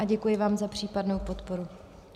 A děkuji vám za případnou podporu.